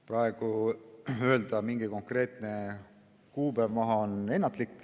Praegu on ennatlik öelda mingit konkreetset kuupäeva.